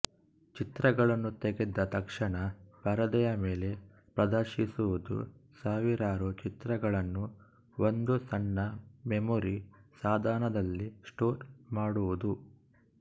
ಚಿತ್ರಗಳನ್ನು ತೆಗೆದ ತಕ್ಷಣ ಪರದೆಯ ಮೇಲೆ ಪ್ರದರ್ಶಿಸುವುದು ಸಾವಿರಾರು ಚಿತ್ರಗಳನ್ನು ಒಂದು ಸಣ್ಣ ಮೆಮೊರಿ ಸಾಧನದಲ್ಲಿ ಸ್ಟೋರ್ ಮಾಡುವುದು